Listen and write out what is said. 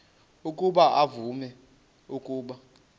ukuba uvume ukuba